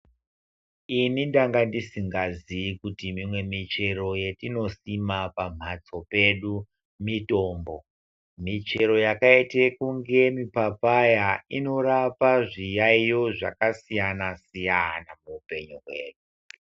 Ini ndanga ndisingazivi kuti imwe muchero yatinosima pambatso pedu mutombo muchero yakaita kunge papaya inorape zviyaiyo zvakasiyana siyana muupenyu hwedu.